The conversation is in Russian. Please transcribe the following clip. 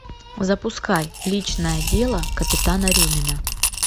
запускай личное дело капитана рюмина